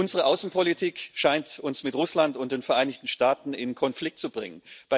Unsere Außenpolitik scheint uns mit Russland und den Vereinigten Staaten in Konflikt zu bringen.